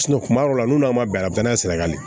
kuma dɔw la n'a ma bɛn a bɛɛ n'a sirakanlen